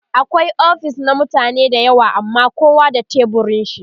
akwai ofis na mutane da yawa amma kowa da teburin shi